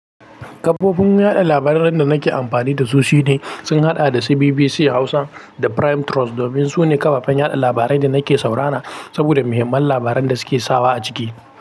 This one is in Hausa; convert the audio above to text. Kafofin yaɗa labaran da nake amfani da su shine sun haɗa da BBC Hausa, da Prime Trust, domin su ne kafafen yaɗa labarai da nake saurara, saboda muhimman labaran da suke sawa a ciki.